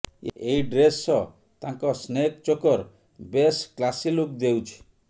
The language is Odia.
ଏହି ଡ୍ରେସ୍ ସହ ତାଙ୍କ ସ୍ନେକ୍ ଚୋକର୍ ବେଶ୍ କ୍ଲାସି ଲୁକ୍ ଦେଉଛି